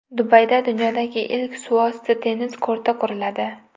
Dubayda dunyodagi ilk suvosti tennis korti quriladi .